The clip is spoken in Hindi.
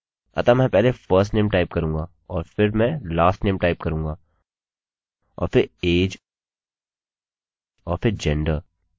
अतः मैं पहले firstname टाइप करूँगा और फिर मैं lastname टाइप करूँगा और फिर age और फिर gender